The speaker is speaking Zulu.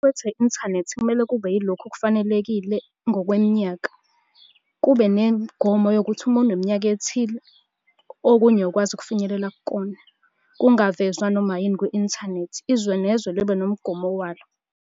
Okuqukethwe yi-inthanethi kumele kube yilokhu okufanelekile ngokweminyaka, kube nemigomo yokuthi uma uneminyaka ethile, okunye awukwazi ukufinyelela kukona. Kungavezwa noma yini kwi-inthanethi, izwe nezwe libe nomgomo walo.